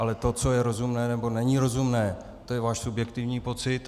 Ale to, co je rozumné, nebo není rozumné, to je váš subjektivní pocit.